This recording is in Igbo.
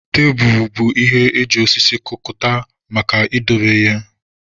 Tebulu bụ ihe eji osisi kụkọta maka idobe ihe